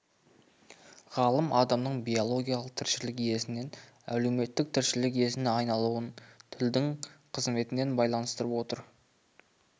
ғалым адамның биологиялық тіршілік иесінен әлеуметтік тіршілік иесіне айналуын тілдің қызметімен байланыстырып отыр